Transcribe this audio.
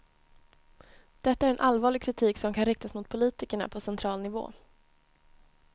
Detta är en allvarlig kritik som kan riktas mot politikerna på central nivå.